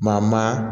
Maa maa maa